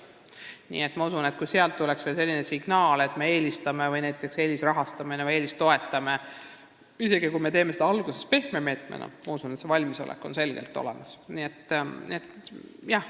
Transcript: Nii et ma usun, et kui tuleks selline signaal, et me eelistame, eelisrahastame või -toetame neid – isegi kui me teeksime seda alguses pehme meetmena –, siis oleks valmisolek selleks selgelt olemas.